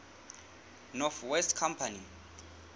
north west company